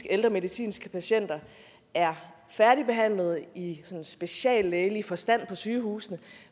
ældre medicinske patienter er færdigbehandlet i speciallægelig forstand på sygehusene